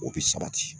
O bi sabati